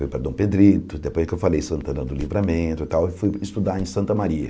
Fui para Dom Pedrito, depois que eu falei Santana do Livramento e tal, e fui estudar em Santa Maria.